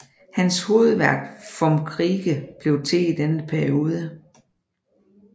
Hans hovedværk Vom Kriege blev til i denne periode